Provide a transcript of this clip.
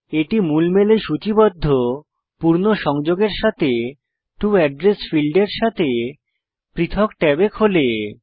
এটি মূল মেলে সূচিবদ্ধ পূর্ণ সংযোগের সাথে টো এড্রেস ফীল্ডের সাথে পৃথক ট্যাবে খোলে